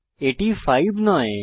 এটি 5 নয়